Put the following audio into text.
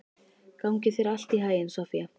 Gangi þér allt í haginn, Soffía.